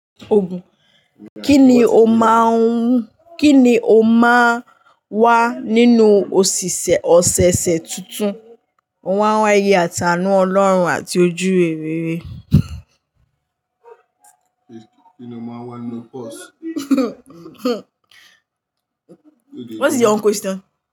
Kí ni o máa n wá nínú òṣìṣẹ́ ọ̀sẹ̀ẹ̀sẹ̀ tuntun? Ó máa ń wá ye àti ànú Ọlọ́run àti ojú rere. What is your own question?